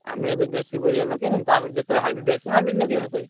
ଆମେ ଏବେ ଦେଶୀ ପରିବା ଲଗେଇଆ ତାପରେ ଯେତବେଳେ hybrid ଆସିବ hybrid ଲଗେଇବା ସେତବେଳେ।